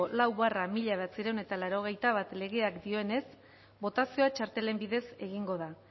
lau barra mila bederatziehun eta laurogeita bat legeak dioenez botazioa txartelen bidez egingo da